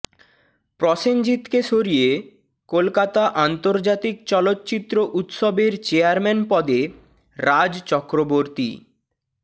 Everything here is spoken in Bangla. প্রসেনজিৎকে সরিয়ে কলকাতা আন্তর্জাতিক চলচ্চিত্র উৎসবের চেয়ারম্যান পদে রাজ চক্রবর্তী